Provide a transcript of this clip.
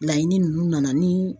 Laɲini ninnu nana ni.